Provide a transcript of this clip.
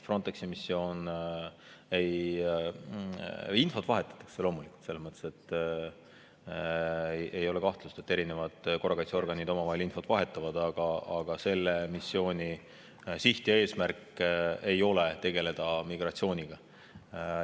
Infot loomulikult vahetatakse, ei ole kahtlust, et erinevad korrakaitseorganid omavahel infot vahetavad, aga selle missiooni siht ja eesmärk ei ole tegeleda migratsiooniga.